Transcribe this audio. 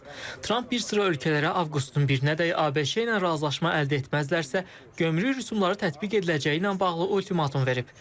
Tramp bir sıra ölkələrə Avqustun 1-nədək ABŞ-la razılaşma əldə etməzlərsə, gömrük rüsumları tətbiq ediləcəyi ilə bağlı ultimatum verib.